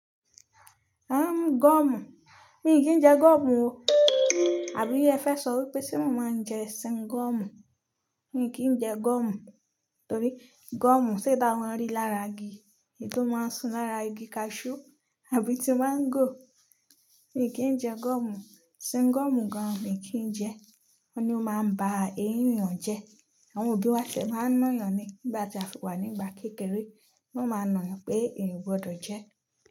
Ẹ́, gọ́omù? Mi kì í jẹ gọ́omù o. Àbí ẹ fẹ́ sọ wípé tí mo máa ń jẹ singọ́mù? Mi kì í jẹ gọ́omù. Torí gọ́omù ṣe eyi taa mo rí lára igi? Èyi to máa ń sùn lára igi cashew àbí ti mango. Mi kì í jẹ gọ́mù. Singọ́mù gan mi kì í jẹ. Wọ́n ni ó máa ń ba èyin eeyan jẹ́. Àwọn òbí wa ti e máa ń na yàn ni nígbà tí a fi wà nígbà kékeré. Wọ́n máa ń na yàn pé ènìyàn kò gbọdọ̀ jẹ ẹ́